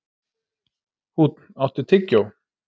Húnn, áttu tyggjó?